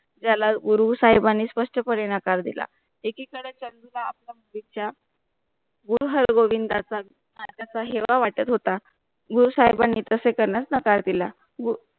त्याला गुरु साहिबांनी स्पष्टपणे नकार दिला एकीकडे त्यांला आपला गुरु हार गोबिंदचा हेवा वाटत होता गुरु साहिबांनी तसे करण्यास नकार दिला